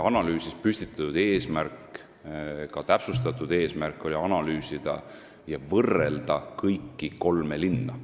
Analüüsis püstitatud eesmärk, ka täpsustatud eesmärk, oli analüüsida ja võrrelda kõiki kolme linna.